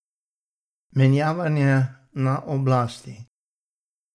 Menjavanje na oblasti.